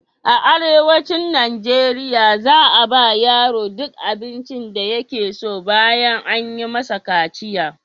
A arewacin Najeriya za a ba wa yaro duk abincin da yake so ɓayan an yi masa kaciya.